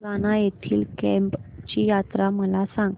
सुरगाणा येथील केम्ब ची यात्रा मला सांग